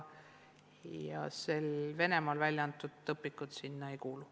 Venemaal välja antud õpikud sinna alla ei kuulu.